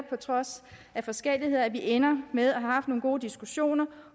på trods af forskelligheder ender med at have haft nogle gode diskussioner